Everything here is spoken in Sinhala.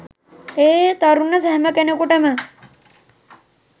එහේ තරුණ හැමකෙනෙකුටම